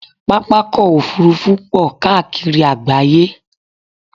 Pápákọ̀ òfurufú pọ̀ káàkiri àgbááyé